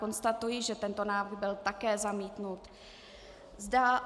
Konstatuji, že tento návrh byl také zamítnut.